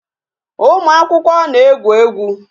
Ụmụ akwụkwọ na-egwu egwu